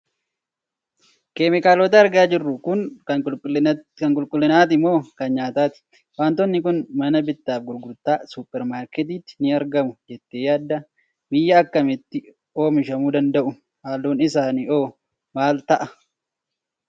Keemikaalota argaa jirtu kun kan qulqullinaati moo kan nyaataati? Waantonni kun mana bittaa fi gurgurtaa suuper maarketiitti ni argamu jettee yaaddaa? Biyya akkamiitti oimishamuu danda'u? Halluun isaanii hoo maal ta'a?